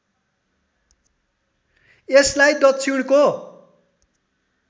यसलाई दक्षिणको